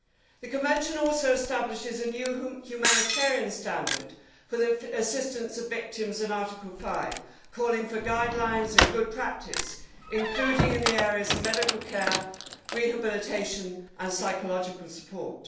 The convention also establishes a new humanitarian standard for the assistance of victims in Article 5, calling for guidelines and good practice, including in the areas of medical care, rehabilitation and psychological support.